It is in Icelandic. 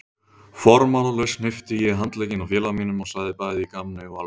Formálalaust hnippti ég í handlegginn á félaga mínum og sagði bæði í gamni og alvöru